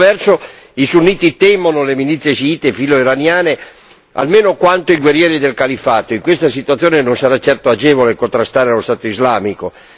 Per altro verso i sunniti temono le milizie sciite filoiraniane almeno quanto i guerrieri del Califfato e in questa situazione non sarà certo agevole contrastare lo Stato islamico.